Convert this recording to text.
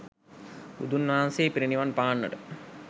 බුදුන් වහන්සේ පිරිනිවන් පාන්නට